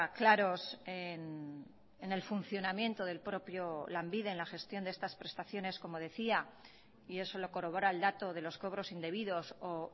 claros en el funcionamiento del propio lanbide en la gestión de estas prestaciones como decía y eso lo corrobora el dato de los cobros indebidos o